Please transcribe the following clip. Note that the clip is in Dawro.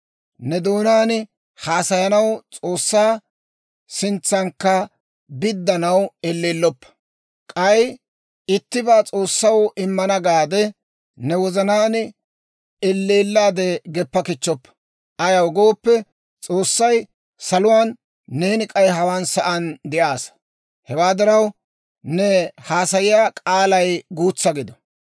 Ne doonaan haasayanaw, S'oossaa sintsankka biddanaw elleelloppa. K'ay ittibaa S'oossaw immana gaade ne wozanaan elleellaade geppa kichchoppa; ayaw gooppe, S'oossay saluwaan, neeni k'ay hawaan sa'aan de'aassa; hewaa diraw, ne haasayiyaa k'aalay guutsa gido.